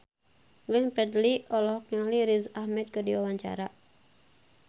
Glenn Fredly olohok ningali Riz Ahmed keur diwawancara